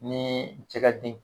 Ni cɛ ka den